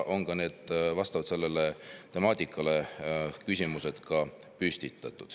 Sellest temaatikast lähtudes on ka küsimused esitatud.